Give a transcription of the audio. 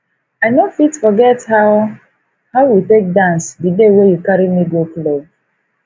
i no fit forget how how we take dance di day wey you carry me go club